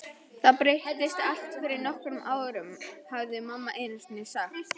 Þetta breyttist allt fyrir nokkrum árum, hafði mamma einusinni sagt.